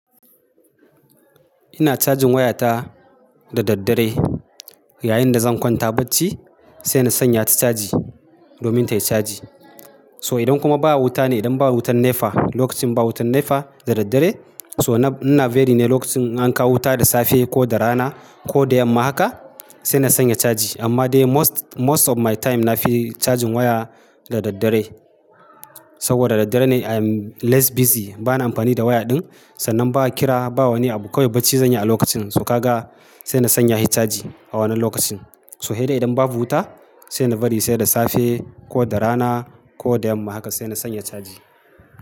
Ina cajin wayata da daddare yayin da zan kwanta bacci sai na sanya ta caji domin ta yi caji. To idan kuma ba wuta ne, idan ba wutan NEPA, lokacin ba wutan NEPA da daddare so na, ina veri ne lokacin an kawo wuta da safe ko da rana ko da yamma haka sai na sanya caji. Amma dai most, most of my time na fi cajin waya da daddare saboda daddare ne I'm less busy. Bana amfani da waya din sannan ba kira, bawani abu. Kowai bacci zan yi a lokacin, so ka ga sai na sanya hi caji a wannan lokacin. So hedai idan babu wuta sai na bari sai da safe ko da rana ko da yamma haka sai na sanya caji.